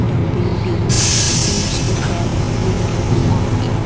the building seems to have windows on air.